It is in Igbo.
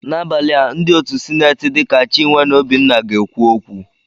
Abalị taa, ndị otu sineti dịka Chinwe na Obinna ga-ekwu okwu.